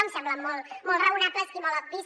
em semblen molt raonables i molt obvis